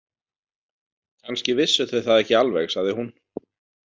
Kannski vissu þau það ekki alveg, sagði hún.